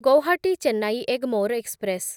Guwahati Chennai Egmore express